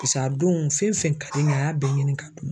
a don fɛn fɛn ka di n ye a y'a bɛɛ ɲini ka dun ma.